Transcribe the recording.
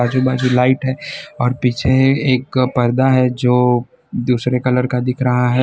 आजू बाजू लाइट है और पीछे एक पर्दा है जो दूसरे कलर का दिख रहा है।